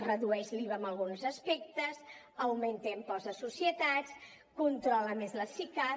redueix l’iva en alguns aspectes augmenta impost de societats controla més les sicav